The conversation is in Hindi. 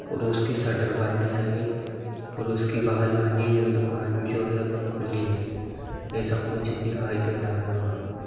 और उसके शटर बंद है अभी और उसकी बगल वाली दुकान जो है वो खुली है| ऐसा कुछ दिखाई दे रहा है वहाँ।